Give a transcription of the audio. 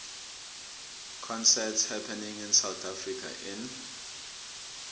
concerts happening in south africa in